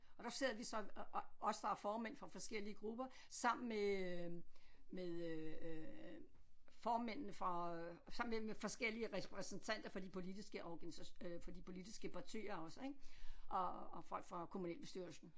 Og der sidder vi så os der er formænd for forskellige grupper sammen med øh med øh formændene for sammen med forskellige repræsentanter fra de politiske fra de politiske partier også ik og og folk fra kommunalbestyrelsen